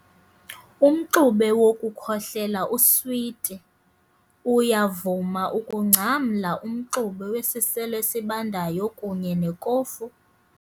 Umxube wokukhohlela uswiti. uyavuma ukungcamla umxube wesiselo esibandayo kunye nekofu